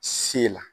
Se la